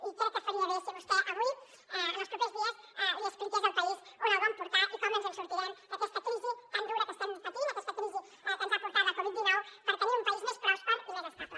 i crec que faria bé si vostè avui o en els propers dies li expliqués al país on el vol portar i com ens en sortirem d’aquesta crisi tan dura que estem patint aquesta crisi que ens ha portat la covid dinou per tenir un país més pròsper i més estable